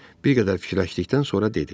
Bir qədər fikirləşdikdən sonra dedi.